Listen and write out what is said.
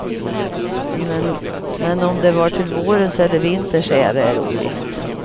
Men om det var till vårens eller vinterns ära är ovisst.